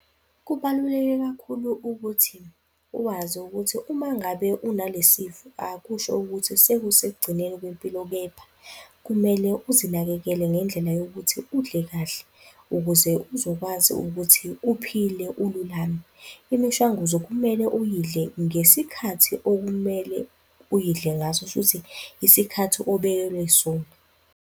Kubaluleke kakhulu ukuthi uwazi ukuthi uma ngabe unalesifo akusho ukuthi sekusekugcineni kwempilo kepha kumele uzinakekele ngendlela yokuthi udle kahle ukuze uzokwazi ukuthi uphile ululame. Imishanguzo kumele uyidle ngesikhathi okumele uyidle ngaso, kusho ukuthi isikhathi obekelwe sona.